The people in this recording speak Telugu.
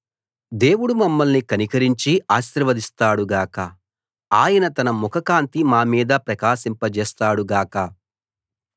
దేవుడు మమ్మల్ని కనికరించి ఆశీర్వదిస్తాడు గాక ఆయన తన ముఖకాంతి మామీద ప్రకాశింపజేస్తాడు గాక